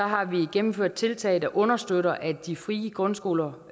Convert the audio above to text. har vi gennemført tiltag der understøtter at de frie grundskoler